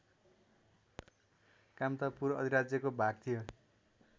कामतापुर अधिराज्यको भाग थियो